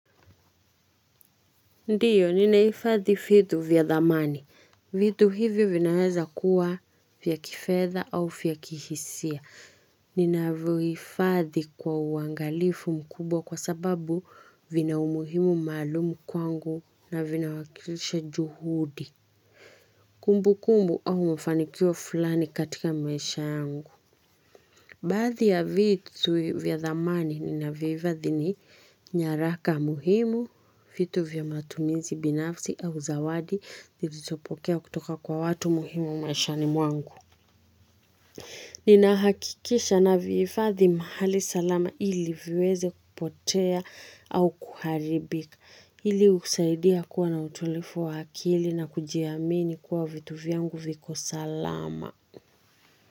Ndiyo, ninahifadhi vitu vya dhamani. Vitu hivi vinaweza kuwa vya kifedha au vya kihisia. Ninavihifadhi kwa uangalifu mkubwa kwa sababu vina umuhimu maalumu kwangu na vinawakilisha juhudi. Kumbukumbu au mafanikio fulani katika maisha yangu. Baadhi ya vitu vya thamani ninavyohifadhi ni nyaraka muhimu, vitu vya matumizi, binafsi, au zawadi, nilizopokea kutoka kwa watu muhimu maishani mwangu. Ninahakikisha navihifadhi, mahali salama ili viweze kupotea au kuharibika Ili kusaidia kuwa na utulivu wa kili na kujiamini kwa vitu vyangu viko salama.